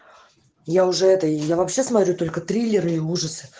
я уже это я вообще смотрю только триллеры и ужасы